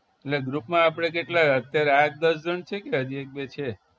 એટલે group માં આપણે કેટલા અત્યારે આઠ દસ જણ છી કે હજી એક બે છે